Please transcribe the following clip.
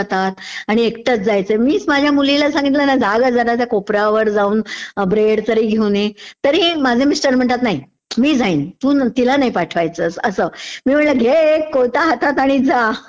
जातात, आणि एकटंच जायचंय...मीच माझ्या मुलीला सांगितलं ना.. अग जरा त्या कोपऱ्यावर जाऊन ब्रेड तरी घेऊन ये, तरीह माझे मिस्टर म्हणतात, नाही मी जाईन, तू तिला नाही पाठवायचंस. असं...मी म्हटलं घे एक कोयता हातोत आणि जा ...